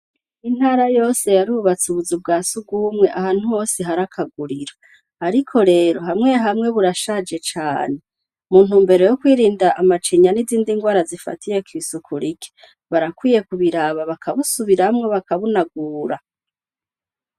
Intara yose yarubatse akazu ka surwumwe ahantu hose hari kaguriro. Ariko rero hamwe hamwe burashaje cane mu ntumbero yo kwirinda amacinya n'izindi ngwara zifatiye kw'isuku rike barakwiye kubiraba bakabusubiramwo bakabunagura.